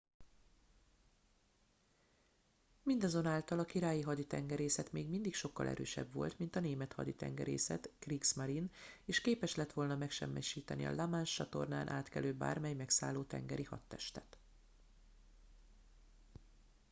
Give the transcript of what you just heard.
mindazonáltal a királyi haditengerészet még mindig sokkal erősebb volt mint a német haditengerészet kriegsmarine” és képes lett volna megsemmisíteni a la manche-csatornán átkelő bármely megszálló tengeri hadtestet